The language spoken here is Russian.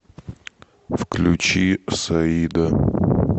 включи саида